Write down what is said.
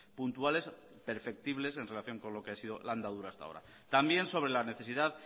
puntuales perceptibles en relación con lo que ha sido la andadura hasta ahora también sobre la necesidad